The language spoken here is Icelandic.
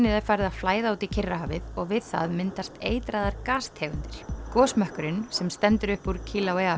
er farið að flæða út í Kyrrahafið og við það myndast eitraðar gastegundir gosmökkurinn sem stendur upp úr